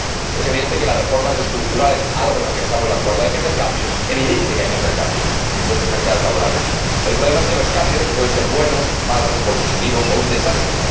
Es evidente que hay que realizar reformas estructurales, algo en lo que estamos de acuerdo, hay que hacer cambios, es evidente que hay que hacer cambios en los mercados laborales. El problema es que los cambios pueden ser buenos, malos, positivos o un desastre.